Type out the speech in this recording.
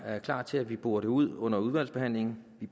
klart til at vi borer det ud under udvalgsbehandlingen vi